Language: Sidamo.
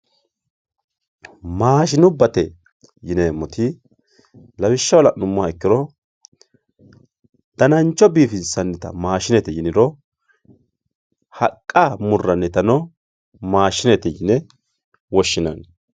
Maashshinubbatte yinemotti laawishaho laanumoha ikiro daanancho bifinsanitta maashinette yiniro haaqa muuranitano maashinette yinne woshinanni